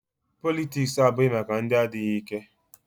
Politiks abụghị maka ndị adịghị ike.